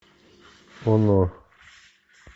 оно